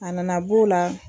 A nana b'o la